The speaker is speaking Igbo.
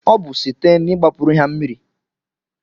Obu sitee n'igbapuru ha mmiri